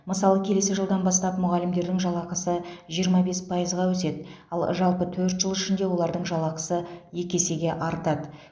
мысалы келесі жылдан бастап мұғалімдердің жалақысы жиырма бес пайызға өседі ал жалпы төрт жыл ішінде олардың жалақысы екі есеге артады